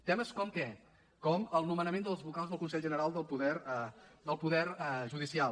temes com què com el nomenament dels vocals del consell general del poder judicial